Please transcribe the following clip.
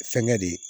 Fɛnkɛ de